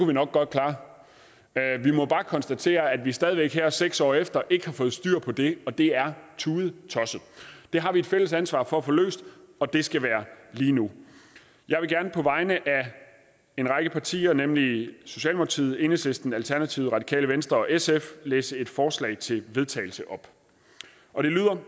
vi nok godt klare men jeg må bare konstatere at vi stadig væk her seks år efter ikke har fået styr på det og det er tudetosset det har vi et fælles ansvar for at få løst og det skal være lige nu jeg vil gerne på vegne af en række partier nemlig socialdemokratiet enhedslisten alternativet radikale venstre og sf læse et forslag til vedtagelse op og det lyder